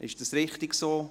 Ist dies richtig so?